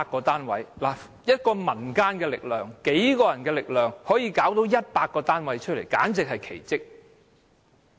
單憑民間數人之力，可以找到100個單位，簡直是奇蹟。